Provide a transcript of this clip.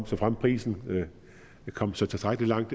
såfremt prisen kom tilstrækkelig langt